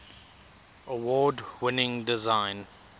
award winning design